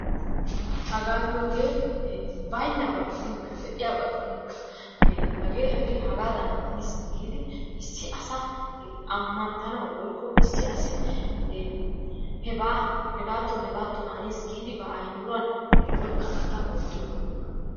hagaa giyooge baynnaba gidinkka de'iyaaba gidinkka hagee hagee hagaadan haniis giidi issi asa ammanttanawu woykko issi asi hebaa hegatton hegatton haniis giidi ba ayyimiruwan oykkanattan oottiyooga giyoogaa.